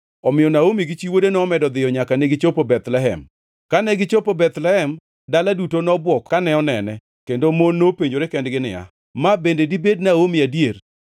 Omiyo Naomi gi chi wuode nomedo dhiyo nyaka negichopo Bethlehem. Kane gichopo Bethlehem, dala duto nobwok kane onene, kendo mon nopenjore kendgi niya, “Ma bende dibed Naomi adier?”